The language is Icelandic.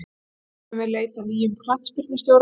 Nú hefjum við leit að nýjum knattspyrnustjóra.